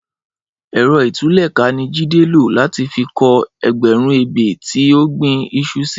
Ẹrọ itùlẹká ni Jide ló làtí fi kọ̀ ẹgbẹrùn ébé ti ó gbin iṣú si